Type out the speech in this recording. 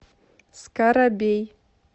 скарабей